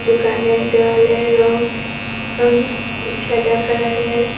এখানে দেওয়ালের রং উঁ সাদা কালারের।